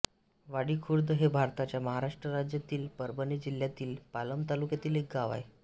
वाडीखुर्द हे भारताच्या महाराष्ट्र राज्यातील परभणी जिल्ह्यातील पालम तालुक्यातील एक गाव आहे